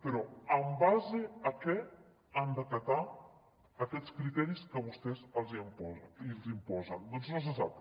però en base a què han d’acatar aquests criteris que vostès els imposen doncs no se sap